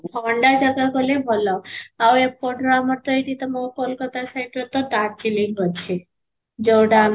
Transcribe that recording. ଥଣ୍ଡା ଜାଗା ଗଲେ ଭଲ, ଆଉ ଏ ପଟର ଆମର ତ ଏଇଠି ତ ମୋ କୋଲକାତା side ରେ ତ darjeeling ଅଛି, ଯଉଟା ମାନେ